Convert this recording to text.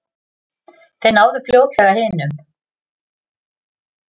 Þeir náðu fljótlega hinum.